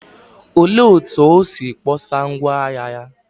Olee otú o si kpọsa ngwá ahịa ya?